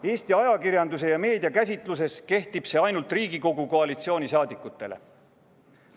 Eesti ajakirjanduse ja meedia käsitluses kehtib see ainult koalitsiooni liikmetele Riigikogus.